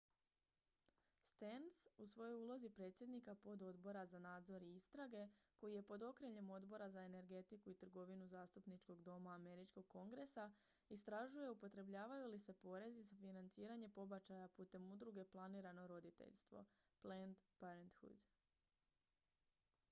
stearns u svojoj ulozi predsjednika pododbora za nadzor i istrage koji je pod okriljem odbora za energetiku i trgovinu zastupničkog doma američkog kongresa istražuje upotrebljavaju li se porezi za financiranje pobačaja putem udruge planirano roditeljstvo planned parenthood